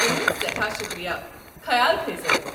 تُہنٛد سٮ۪ٹھاہ شُکریہ، خیال تھٲیزٮ۪و۔